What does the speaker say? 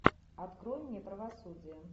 открой мне правосудие